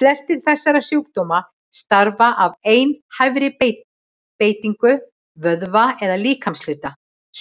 Flestir þessara sjúkdóma stafa af einhæfri beitingu vöðva eða líkamshluta,